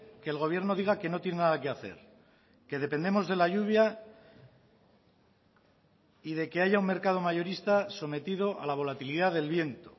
que el gobierno diga que no tiene nada que hacer que dependemos de la lluvia y de que haya un mercado mayorista sometido a la volatilidad del viento